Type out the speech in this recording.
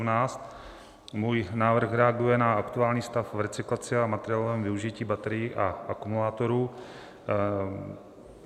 Můj návrh reaguje na aktuální stav v recyklaci a materiálovém využití baterií a akumulátorů.